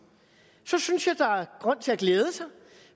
så synes jeg der er grund til at glæde sig